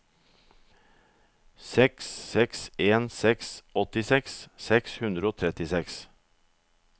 seks seks en seks åttiseks seks hundre og trettiseks